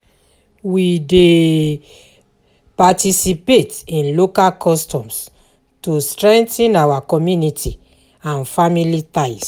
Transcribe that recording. We dey um participate in local customs to strengthen our community and family ties.